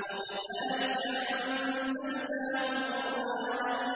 وَكَذَٰلِكَ أَنزَلْنَاهُ قُرْآنًا